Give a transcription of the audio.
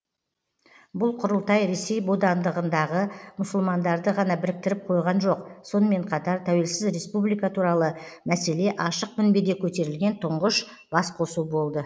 бұл құрылтай ресей бодандығындағы мұсылмандарды ғана біріктіріп қойған жоқ сонымен қатар тәуелсіз республика туралы мәселе ашық мінбеде көтерілген тұңғыш бас қосу болды